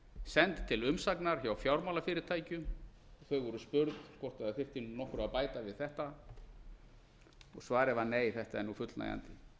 send til umsagnar hjá fjármálafyrirtækjum þau voru spurð hvort það þyrfti nokkru að bæta við þetta og svarið var nei þetta er fullnægjandi